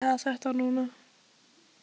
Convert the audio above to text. Ég nenni ekki að ræða þetta núna.